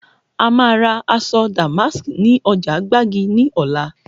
A máa ra aṣọ damask ni ọjà gbági ní ọ̀la